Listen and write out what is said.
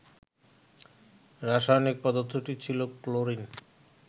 রাসায়নিক পদার্থটি ছিল ক্লোরিন